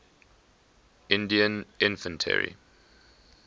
indian infantry